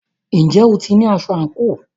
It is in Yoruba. Ǹjẹ́ o ti ní aṣọ àǹkóò?